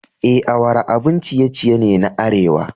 E, awara abun ciye-ciye ne na arewa.